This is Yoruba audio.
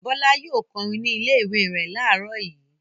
Bọ́lá yóò kọrin ní ilé-ìwé rẹ̀ láàárọ̀ yìí.